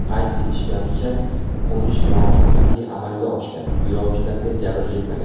Qayd etishlaricha, qo‘nish muvaffaqiyatli amalga oshgan, yo‘lovchilarga jabr yetmagan.